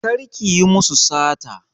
Kar ki yi musu sata!